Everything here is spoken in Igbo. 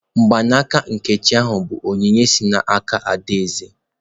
Mgbaaka nkechi yi bụ onyinye si n'aka adaeze.